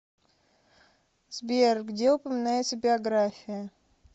сбер где упоминается биография